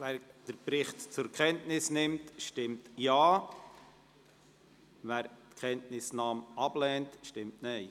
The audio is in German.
Wer den Bericht zur Kenntnis nimmt, stimmt Ja, wer die Kenntnisnahme ablehnt, stimmt Nein.